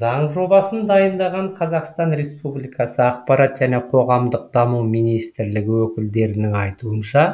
заң жобасын дайындаған қазақстан республикасы ақпарат және қоғамдық даму министрлігі өкілдерінің айтуынша